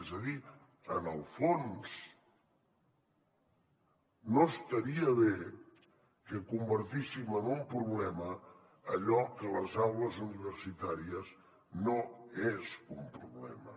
és a dir en el fons no estaria bé que convertíssim en un problema allò que a les aules universitàries no és un problema